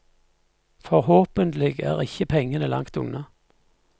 Forhåpentlig er ikke pengene langt unna.